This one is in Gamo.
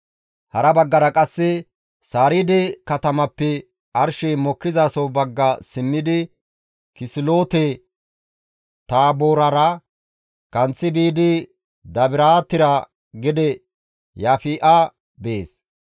Hara baggara qasse Sariide katamappe arshey mokkizaso bagga simmidi Kisiloote-Taaboorera kanththi biidi Dabiraatera gede Yaafi7a bees.